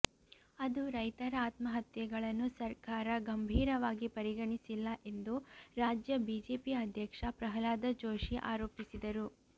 ಅದು ರೈತರ ಆತ್ಮಹತ್ಯೆಗಳನ್ನು ಸರ್ಕಾರ ಗಂಭೀರವಾಗಿ ಪರಿಗಣಿಸಿಲ್ಲ ಎಂದು ರಾಜ್ಯ ಬಿಜೆಪಿ ಅಧ್ಯಕ್ಷ ಪ್ರಹ್ಲಾದ ಜೋಶಿ ಆರೋಪಿಸಿದರು